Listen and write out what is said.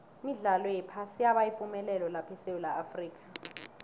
imidlalo yephasi yaba yipumelelo lapha esewula afrika